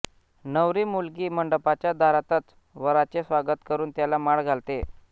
नवरी मुलगी मंडपाच्या दारातच वराचे स्वागत करून त्याला माळ घालते